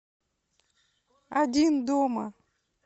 один дома